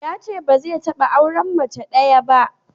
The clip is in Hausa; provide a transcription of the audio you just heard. Yace ba zai taɓa auren mace ɗaya ba.